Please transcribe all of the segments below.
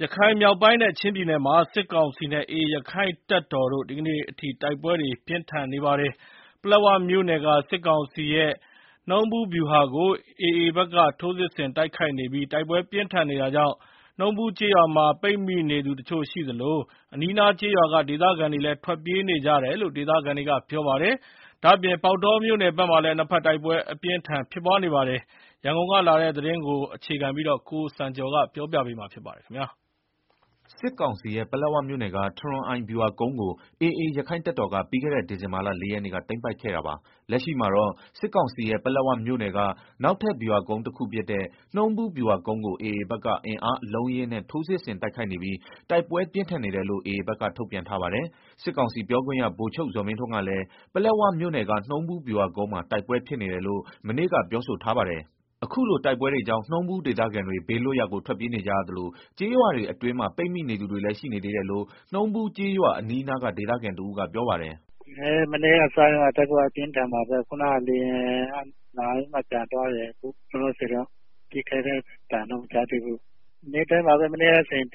ရခိုင်မြောက်ပိုင်းနဲ့ ချင်းပြည်နယ်မှာ စစ်ကောင်စီနဲ့ AA ရက္ခိုင့်တပ်တော်တို့ ဒီကနေ့အထိ တိုက်ပွဲတွေ ပြင်းထန်နေတာပါ။ ပလက်ဝမြို့နယ်က စစ်ကောင်စီရဲ့ နှုံးဗူးဗျူဟာကို AAဘက်က ထိုးစစ်ဆင်တိုက်ခိုက်နေပြီး တိုက်ပွဲပြင်းထန်နေတာကြောင့် နှုံးဗူးကျေးရွာမှာ ပိတ်မိနေသူ တချို့ရှိသလို အနီးအနားကျေးရွာက ဒေသခံလည်း ထွက်ပြေးနေကြရတယ်လို့ ဒေသခံတွေက ပြောပါတယ်။ ဒါ့အပြင် ပေါက်တောမြို့နယ်မှာလည်း နှစ်ဘက်တိုက်ပွဲ အပြင်းအထန်ဖြစ် နေတာပါ။ ရန်ကုန်ကလာတဲ့ သတင်းကို ကိုစံကျော် ကတင်ပြပေးပါမယ်။ စစ်ကောင်စီရဲ့ ပလက်ဝမြို့နယ်က ထရွန်အိုင်ဗျူဟာကုန်းကို AA ရက္ခိုင့်တပ်တော်က ပြီးခဲ့တဲ့ ဒီဇင်ဘာလ ၄ရက်နေ့က သိမ်းပိုက်ခဲ့တာပါ။ လက်ရှိမှာတော့ စစ်ကောင်စီရဲ့ ပလက်ဝမြို့ နယ်က နောက်ထပ်ဗျူဟာ ကုန်းတခုဖြစ်တဲ့ နှုံးဗူးဗျူဟာကုန်းကို AA ဘက်က အင်အားအလုံး အရင်းနဲ့ ထိုးစစ်ဆင်တိုက်ခိုက်နေပြီး တိုက်ပွဲပြင်းထန်နေတယ်လို့ AA ဘက်ကထုတ်ပြန် ထားပါတယ်။ စစ်ကောင်စီပြောခွင့်ရ ဗိုလ်ချုပ်ဇော်မင်းထွန်းကလည်း ပလက်ဝမြို့နယ်က နှုံးဗူးဗျူဟာကုန်းမှာ တိုက်ပွဲဖြစ်နေတယ်လို့ မနေ့ကပြောဆိုထားပါတယ်။ အခုလို တိုက်ပွဲတွေကြောင့် နှုံးဗူးဒေသခံတွေ ဘေးလွတ်ရာကို ထွက်ပြေးနေကြရသလို ကျေးရွာတွေ အတွင်းမှာ ပိတ်နေသူ တွေလည်းရှိနေသေးတယ်လို့ နှုံးဗူးကျေးရွာ အနီးအနားက ဒေသခံတဦးကပြောပါတယ်။ “မနေ့ကစပြီးတော့ တိုက်ပွဲက အပြင်းအထန်ပါပဲ၊ ခုနားက လေယာဉ်က လာပြီးတော့ ပြန်သွားတယ်၊ လောလောဆယ်တော့ ပစ်ခတ်သံတော့ မကြားသေးဘူး၊ နေ့တိုင်းပါပဲ မနေ့က ဆိုရင် တ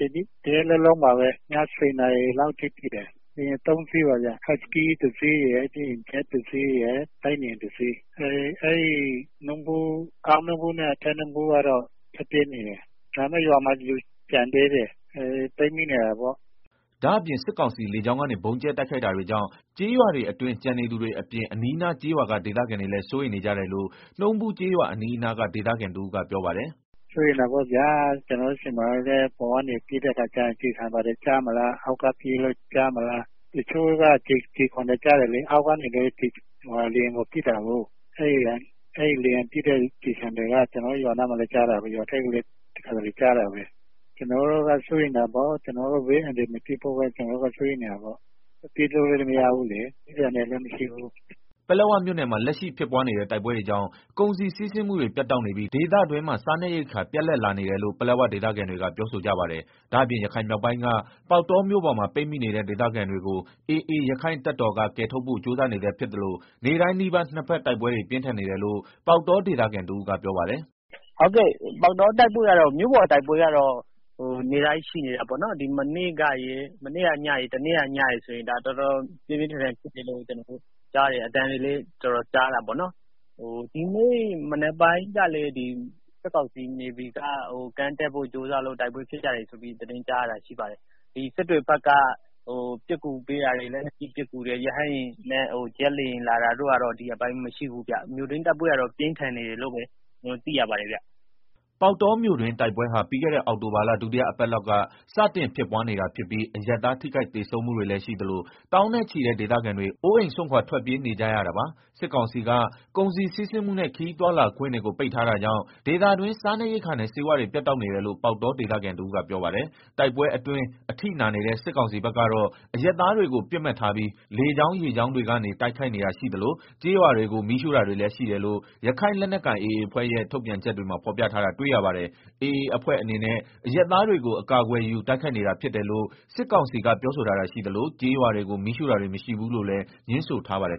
ရက်လုံးလုံးပါပဲ၊ ည၁ဝနာရီအထိ ဖြစ်တယ်၊ လေယာဉ်သုံးစင်း ဟတ်စကီးတစီးရယ် ဂျက်တစီးရယ်၊ တိုက်လေယာဉ်တစီးရယ်၊ အောက်နှုံးဗူးနဲ့ အထက်နှုံးဗူး ကျေးရွာတွေကတော့ အကုန်လုံးပြေးနေရတယ်၊ ဒါပေမယ့် ရွာမှာ လူကျန်သေးတယ် ပိတ်မိနေတာပေါ့။” ဒါ့အပြင် စစ်ကောင်စီလေကြောင်းကနေက ဗုံးကြဲတိုက်ခိုက်တာတွေကြောင့် ကျေးရွာအတွင်း ကျန်နေသူတွေအပြင် အနီးအနားကျေးရွာက ဒေသခံတွေလည်း စိုးရိမ်နေကြတယ်လို့ နှုံးဗူးကျေးရွာအနီး အနားက ဒေသခံတဦးကပြောပါတယ်။ “ စိုးရိမ်တာပေါ့ဗျာ၊ ကျနော်တို့ဆီမှာဆိုလို့ရှိရင် အပေါ်ကနေ ပစ်တဲ့အခါ ကျည်ဆံတွေဘာတွေ ကျမလား၊ အောက်က ပစ်လို့ကျမလား၊ တချို့က ကျည်ခွံတွေကျတယ်လေ၊ အောက်ကနေလည်း လေယာဉ်ကို ပစ်တာကို၊ အဲကျည်ဆံတွေက ရွာနားကိုလည်းကျတယ် ရွာထဲကိုလည်းကျတယ်။ကျနော်တို့ စိုးရိမ်တာပေါ့ ဘေးအန္တရာယ်မဖြစ်ဖို့ ပြေးလို့လည်းမရဘူးလေ ပြေးဖို့နေရာလည်းမရှိဘူးလေ။” ပလက်ဝမြို့နယ်မှာ လက်ရှိဖြစ်ပွားနေတဲ့ တိုက်ပွဲတွေကြောင့် ကုန်စည်စီးဆင်းမှုတွေ ပြတ်တောက်နေပြီး ဒေသတွင်းမှာ စားနပ်ရိက္ခာ ပြတ်လပ်လာနေတယ်လို့ ပလက်ဝဒေသခံတွေက ပြောဆိုကြပါတယ်။ ဒါ့အပြင် ရခိုင်မြောက်ပိုင်းက ပေါက်တောမြို့ပေါ်မှာပိတ်မိနေတဲ့ ဒေသခံတွေကို AA ရက္ခိုင့် တပ်တော်က ကယ်ထုတ်ဖို့ကြိုးစားနေဆဲဖြစ်သလို နေ့တိုင်းနီးပါး နှစ်ဘက်တိုက်ပွဲတွေ ပြင်းထန်နေတယ်လို့ ပေါက်တောဒေသခံ တဦးကပြောပါတယ်။ “ ပေါက်တောမြို့ပေါ်တိုက်ပွဲကတော့ နေ့တိုင်းရှိနေတယ်၊ မနေ့ကညရယ် တနေ့က ညရယ် ဆိုရင် တော်တော်ပြင်းပြင်းဖြစ်တဲ့ အသံကြားတယ်၊ ဒီနေ့မနက်ပိုင်းကလည်း စစ်ကောင်စီ နေဗီက ကမ်းကပ်ဖို့ ကြိုးစားလို့ တိုက်ပွဲဖြစ်တာလို့ ကြားတယ်၊ စစ်တွေဖက်က လက်နက်ကြီးပစ် ကူပေးတာတွေ လေယာဉ်လာတာတို့ကတော့ ဒီရက်ပိုင်းမရှိဘူး၊ မြို့တွင်းတိုက်ပွဲကတော့ ပြင်းထန်နေတယ်လို့ ကျနော်တို့သိရပါတယ်ဗျာ။” ပေါက်တောမြို့တွင်းတိုက်ပွဲဟာ ပြီးခဲ့တဲ့ အောက်တိုဘာလ ဒုတိယအပတ်လောက် ကစတင်ဖြစ်ပွား နေတာဖြစ်ပြီး အရပ်သားထိခိုက် သေဆုံးမှုတွေလည်းရှိသလို သောင်းနဲ့ချီတဲ့ ဒေသခံတွေ အိုးအိမ်စွန့်ခွာ ထွက်ပြေးနေကြရတာပါ။ စစ်ကောင်စီက ကုန်စည်စီးဆင်းမှုနဲ့ ခရီးသွားလာခွင့်တွေကို ပိတ်ထားတာကြောင့် ဒေသတွင်း စားနပ်ရိက္ခာနဲ့ ဆေးဝါးတွေ ပြတ်တောက်နေတယ်လို့ ပေါက်တောဒေသခံတဦးကပြောပါတယ်။ တိုက်ပွဲအတွင်း အထိနာနေတဲ့ စစ်ကောင်စီဘက်ကတော့ အရပ်သားတွေကို ပစ်မှတ်ထားပြီး လေကြောင်း ရေကြောင်းတွေကနေ တိုက်ခိုက်နေတာရှိသလို ကျေးရွာတွေကို မီးရှို့တာတွေလည်းရှိတယ်လို့ ရခိုင်လက်နက်ကိုင် AA အဖွဲ့ရဲ့ ထုတ်ပြန်ချက်တွေမှာ ဖော်ပြထားတာတွေ့ရပါတယ်။ AA အဖွဲ့အနေနဲ့ အရပ်သားတွေကို အကာအကွယ်ယူ တိုက်ခိုက်နေတာဖြစ်တယ်လို့ စစ်ကောင်စီကပြောဆိုထားတာရှိသလို ကျေးရွာတွေကို မီးရှို့တာတွေ မရှိဘူးလို့လည်းငြင်းဆိုထားပါတယ်